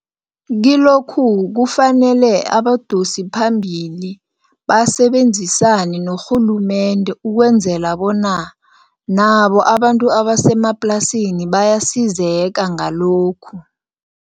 Kilokhu kufanele abadosiphambili basebenzisane norhulumende ukwenzela bona nabo abantu abasemaplasini bayasizeka ngalokhu.